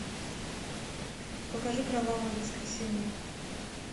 покажи кровавое воскресенье